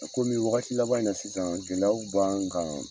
Komi wagati laban in na sisan gɛlɛyaw b'an kan.